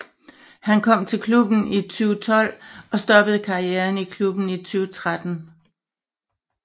Han kom til klubben i 2012 og stoppede karrieren i klubben i 2013